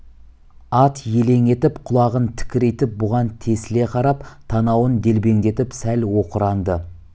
ат елең етіп құлағын тікірейтіп бұған тесіле қарап танауын делбеңдетіп сәл оқыранды